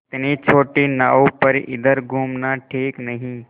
इतनी छोटी नाव पर इधर घूमना ठीक नहीं